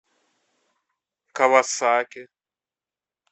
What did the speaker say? кавасаки